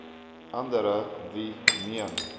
andere wie meen